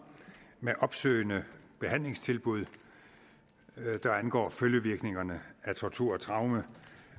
med opsøgende behandlingstilbud der angår følgevirkningerne af tortur og traume